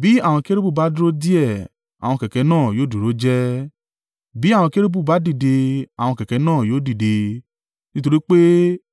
Bí àwọn kérúbù bá dúró díẹ̀ àwọn kẹ̀kẹ́ náà yóò dúró jẹ́ẹ́; bí àwọn kérúbù bá dìde àwọn kẹ̀kẹ́ náà yóò dìde, nítorí pé